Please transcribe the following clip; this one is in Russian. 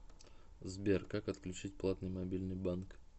сбер как отключить платный мобильный банк